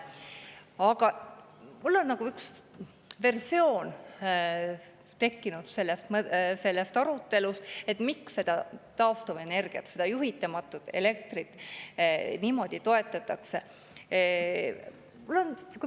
Aga mul on üks versioon tekkinud sellest, miks taastuvenergiat, juhitamatut elektrit niimoodi toetatakse.